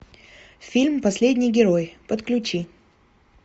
фильм последний герой подключи